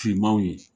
Finmanw ye